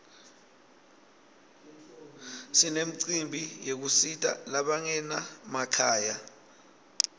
sinemcimbi yekusita labangena makhaya